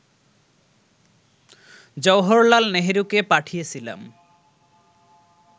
জওহরলাল নেহরুকে পাঠিয়েছিলাম